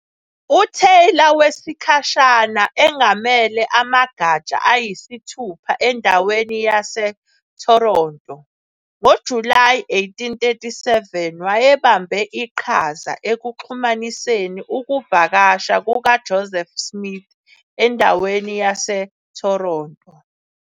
UTaylor wesikhashana engamele amagatsha ayisithupha endaweni yaseToronto. NgoJulayi 1837 wayebambe iqhaza ekuxhumaniseni ukuvakasha kukaJoseph Smith endaweni yaseToronto.